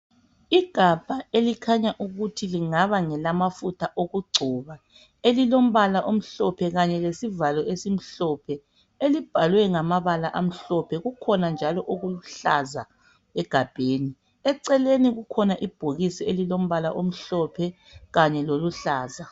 Igabha elikhanya ukuthi lingaba ngelamafutha okugcoba elilombala omhlophe kanye lesivalo esimhlophe libhalwe ngamabala amhlophe kukhona njalo okuluhlaza egabheni, eceleni kukhona ibhokisi elilombala omhlophe kanye loluhlaza.